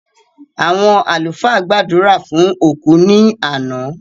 Àwọn àlúfà gbàdúrà fún òkú ní àná